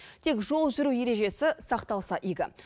тек жол жүру ережесі сақталса игі